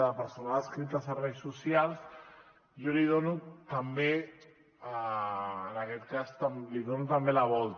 de personal adscrit a serveis socials jo li dono també en aquest cas li dono també la volta